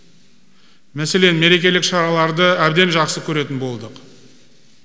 мәселен мерекелік шараларды әбден жақсы көретін болдық